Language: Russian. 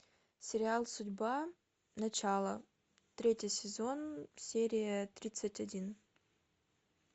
сериал судьба начало третий сезон серия тридцать один